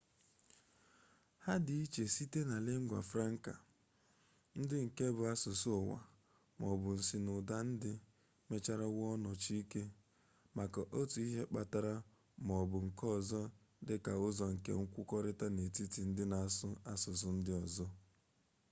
ha dị iche site na lingua franca ndị nke bụ asụsụ ụwa ma ọ bụ nsinụwand ndị mechara wụọ nnọchike maka otu ihe mkpata ma ọ bụ nke ọzọ dị ka ụzọ nke nkwukọrịta n'etiti ndị na-asụ asụsụ ndị ọzọ